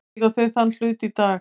Eiga þau þann hlut í dag.